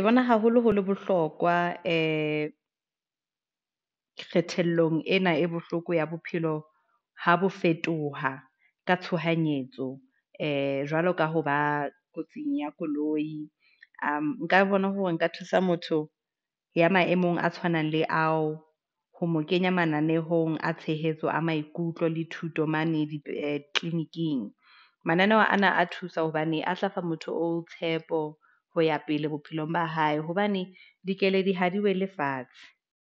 Ke bona, haholo ho le bohlokwa ee, kgethellong ena e bohloko ya bophelo, ha bo fetoha ka tshohanyetso ee, jwalo ka hoba kotsing ya koloi . Nka bona hore nka thusa motho ya maemong a tshwanang le ao ho mo kenya mananehong a tshehetso a maikutlo le thuto mane tleliniking. Mananeho ana a thusa hobane a tla fa motho o tshepo ho ya pele bophelong ba hae hobane dikeledi ha di wele fatshe.